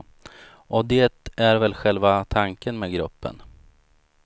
Och det är väl själva tanken med gruppen.